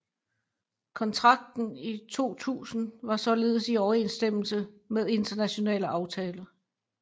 Kontrakten i 2000 var således i overensstemmelse med internationale aftaler